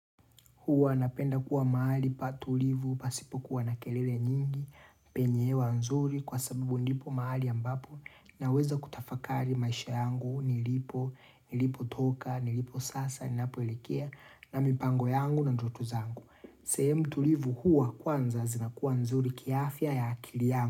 Huwa napenda kuwa maali pa tulivu, pasipo kuwa na kelele nyingi, penye hewa nzuri kwa sabibu ndipo maali ambapo na weza kutafakari maisha yangu, nilipo, nilipo toka, nilipo sasa, nilipo elekea na mipango yangu na ndoto zangu. Sehemu tulivu huwa kwanza zinakuwa nzuri kiafya ya akili yangu.